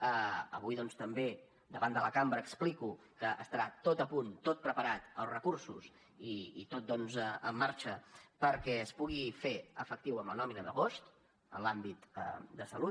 avui doncs també davant de la cambra explico que estarà tot a punt tot preparat els recursos i tot en marxa perquè es pugui fer efectiu en la nòmina d’agost en l’àmbit de salut